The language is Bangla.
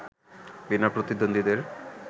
বিনা প্রতিদ্বন্দ্বীদের